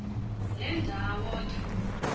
le ndawo ke